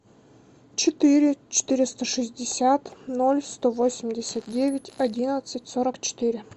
четыре четыреста шестьдесят ноль сто восемьдесят девять одиннадцать сорок четыре